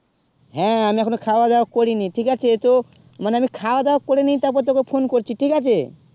হেঁ আমি এখন খাবা দাবা করি নি ঠিক আছে তো মানে আমি খাবা দাবা করে নি তার পরে তোকে phone করছি ঠিক আছে